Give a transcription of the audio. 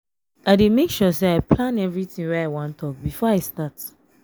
i dey make sure sey i plan everytin wey i wan tok before i start.